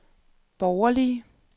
borgerlige